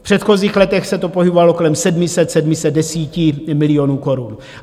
V předchozích letech se to pohybovalo kolem 700, 710 milionů korun.